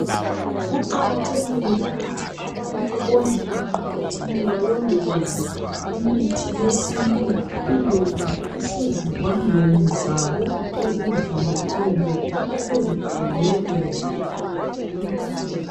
Kuqakathekile ukuthi abantu bonke emphakathini balondoloze imithi yesintu iloba isezivandeni zabo ezindlini kumbe osegabheni nje